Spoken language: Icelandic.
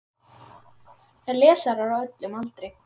Lesarar á öllum aldri.